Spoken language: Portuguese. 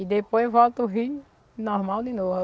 E depois volta o rio normal de novo.